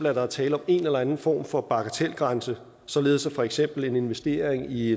at der er tale om en eller anden form for bagatelgrænse således at for eksempel en investering i